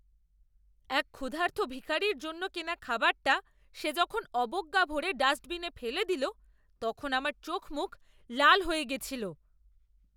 এক ক্ষুধার্ত ভিখারীর জন্য কেনা খাবারটা সে যখন অবজ্ঞাভরে ডাস্টবিনে ফেলে দিল, তখন আমার চোখমুখ লাল হয়ে গেছিলো।